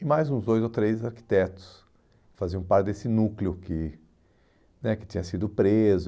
E mais uns dois ou três arquitetos faziam parte desse núcleo que né que tinha sido preso.